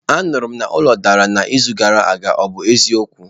Anụrụ na ụlọ dara n'izu gara aga, ọ bụ eziokwu?